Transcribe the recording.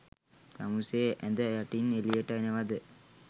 තමුසේ ඇද යටින් එලියට එනවද?